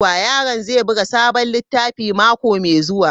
Yaron zai buga sabon littafi mako mai zuwa.